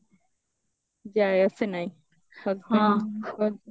ଯାଏ ଆସେ ନାହିଁ ହଁ